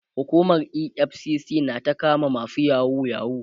hukumar EFCC na ta kama masu yahoo yahoo